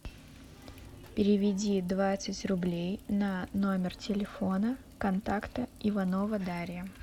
переведи двадцать рублей на номер телефона контакта иванова дарья